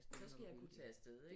Så skal jeg kunne tage afsted ik